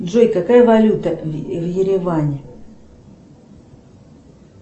джой какая валюта в ереване